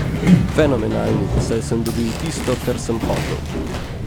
Fenomenalni, saj sem dobil tisto, kar sem hotel.